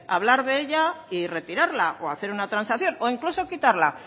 hablar de ella y retirarla o hacer una transacción o incluso quitarla